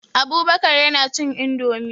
Abubakar yana cin indomie.